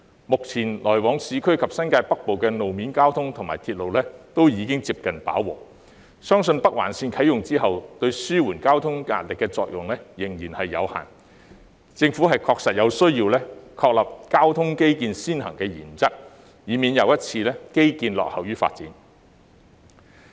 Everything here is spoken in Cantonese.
目前來往市區及新界北部的路面交通及鐵路已經接近飽和，相信北環綫啟用後對紓緩交通壓力的作用有限，政府確實有需要確立交通基建先行的原則，以免基建再一次落後於發展。